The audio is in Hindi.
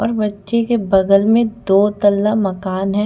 और बच्चे के बगल में दो तल्ला मकान है।